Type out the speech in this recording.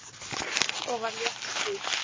Öxl og var léttstíg.